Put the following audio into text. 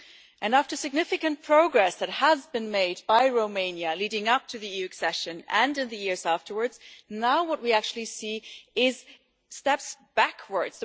And after significant progress that had been made by Romania leading up to EU accession and in the years afterwards, now what we actually see is steps backwards.